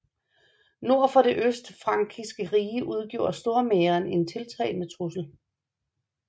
Nord for det østfrankiske rige udgjorde Stormähren en tiltagende trussel